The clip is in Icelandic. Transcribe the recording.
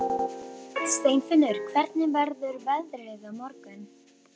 Steinfinnur, hvernig verður veðrið á morgun?